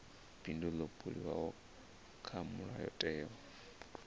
bindu ḽo buliwaho kha mulayotewa